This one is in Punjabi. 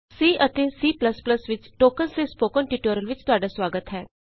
C ਅਤੇ C ਪਲਸ ਪਲਸ ਵਿਚ ਟੋਕਨਸ ਦੇ ਸਪੋਕਨ ਟਯੂਟੋਰਿਅਲ ਵਿਚ ਤੁਹਾਡਾ ਸੁਆਗਤ ਹੈ